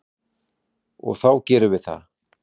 Og þá gerum við það.